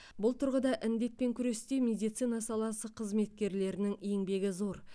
бұл тұрғыда індетпен күресте медицина саласы қызметкерлерінің еңбегі зор